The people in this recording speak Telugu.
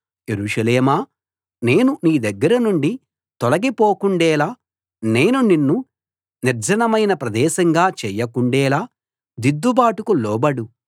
యెరూషలేమా నేను నీ దగ్గర నుండి తొలగి పోకుండేలా నేను నిన్ను నిర్జనమైన ప్రదేశంగా చేయకుండేలా దిద్దుబాటుకు లోబడు